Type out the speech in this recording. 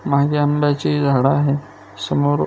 मागे आंब्याची झाडे आहे समोर--